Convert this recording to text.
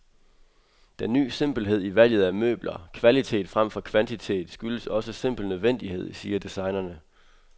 Den ny simpelhed i valget af møbler, kvalitet fremfor kvantitet, skyldes også simpel nødvendighed, siger designerne.